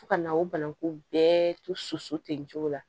Fo ka na o bananku bɛɛ to so ten nin cogo la